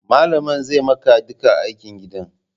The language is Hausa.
Malamin zai maka duka aikin gidan